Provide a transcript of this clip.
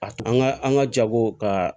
A an ka an ka jago ka